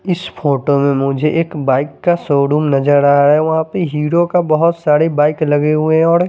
इस फोटो में मुझे एक बाइक का शोरूम नज़र आ रहा है वहा पर हीरो की बोहोत साड़ी बाइक लगे हुए है और --